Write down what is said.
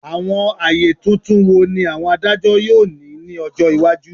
Awọn aye tuntun wo ni awọn adajọ yoo ni ni ọjọ iwaju?